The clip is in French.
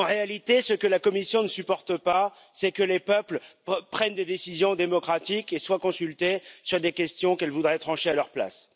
En réalité, ce que la Commission ne supporte pas, c'est que les peuples prennent des décisions démocratiques et soient consultés sur des questions qu'elle voudrait trancher à leur place.